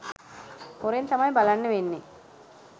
හොරෙන් තමයි බලන්න වෙන්නේ